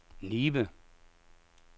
Nibe